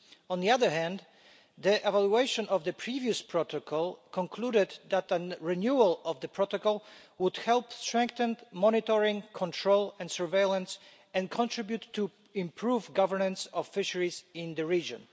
On the other hand, the evaluation of the previous protocol concluded that a renewal of the protocol would help strengthen monitoring, control and surveillance and contribute to improving governance of fisheries in the region.